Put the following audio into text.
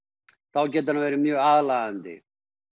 þá getur hann verið mjög aðlaðandi